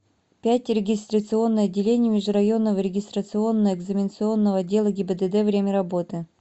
пять регистрационное отделение межрайонного регистрационно экзаменационного отдела гибдд время работы